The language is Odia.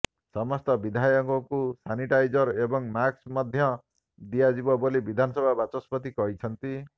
ସମସ୍ତ ବିଧାୟକଙ୍କୁ ସାନିଟାଇଜର ଏବଂ ମାସ୍କ ମଧ୍ୟ ଦିଆଯିବ ବୋଲି ବିଧାନସଭା ବାଚସ୍ପତି କହିଛନ୍ତି